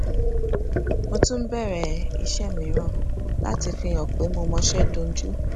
mo tún bèrè iṣé mìíràn láti fi hàn pé mo mọṣé dunjú